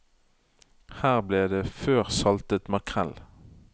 Her ble det før saltet makrell.